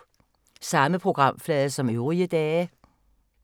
Samme programflade som øvrige dage